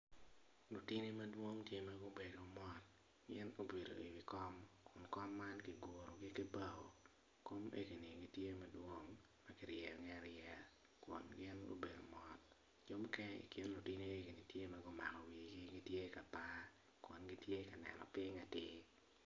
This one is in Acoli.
Lutini madwong tye ma gubedo mot gin gubedo iwi kom kom man kigurogi ki bao kom enini tye madwong ma kiryeyogi aryeya kun gin gubedo mot jo mukene i kin lutini tye ma gumako wigi tye ma gitye ka par kun gitye ka neno piny atir.